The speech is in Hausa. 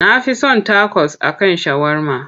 Na fi son takos a kan shawarma.